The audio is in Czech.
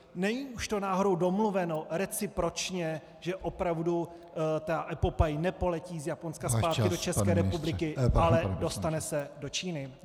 Není už to náhodou domluveno recipročně, že opravdu ta epopej nepoletí z Japonska zpátky do České republiky, ale dostane se do Číny?